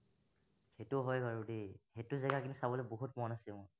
এইটো হয় বাৰু দেই এইটো জেগা কিন্তু চাবলৈ বহুত মন আছে মোৰ